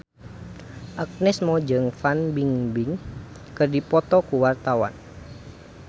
Agnes Mo jeung Fan Bingbing keur dipoto ku wartawan